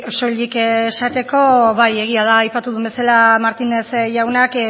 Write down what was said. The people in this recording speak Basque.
soilik esateko bai egia da aipatu duen bezala martínez jaunak